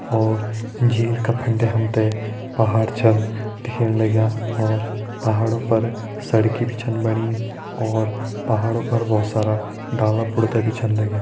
और झील का फंडे हम ते पहाड़ छन दिखेणा लग्यां और पहाड़ों पर सड़की भी छन बणी और पहाड़ों पर बहोत सारा डाला - पुरता भी छन लग्यां।